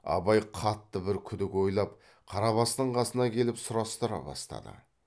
абай қатты бір күдік ойлап қарабастың қасына келіп сұрастыра бастады